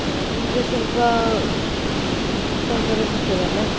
ಈಗ ಸ್ವಲ್ಪ discount ಎಲ್ಲಾ ಸಿಕ್ತದಲ್ಲ.